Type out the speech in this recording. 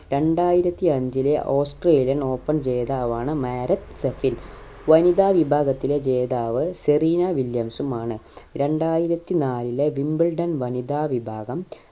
രണ്ടായിരത്തി അഞ്ചിലെ australian open ജേതാവാണ് മാരത്ത് സഫിൽ വനിതാ വിഭാഗത്തിലെ ജേതാവ് സെറീന വില്യംസുമാണ് രണ്ടായിരത്തി നാലിലെ wimbledon വനിതാ വിഭാഗം